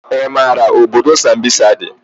I maara obodo sambisa dị?